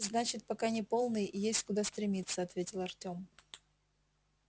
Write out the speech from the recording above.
значит пока не полный есть куда стремиться ответил артём